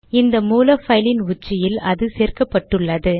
இந்த மூல பைலின் உச்சியில் அது சேர்க்கப்பட்டுள்ளது